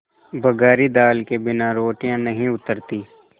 बघारी दाल के बिना रोटियाँ नहीं उतरतीं